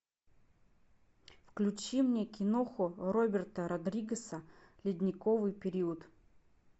включи мне кино роберта родригеса ледниковый период